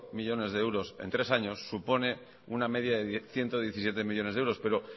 millónes de euros en tres años supone una media de ciento diecisiete millónes de euros pero